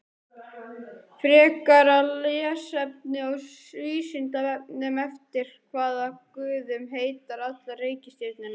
Frekara lesefni á Vísindavefnum: Eftir hvaða guðum heita allar reikistjörnurnar?